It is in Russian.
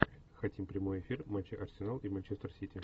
хотим прямой эфир матча арсенал и манчестер сити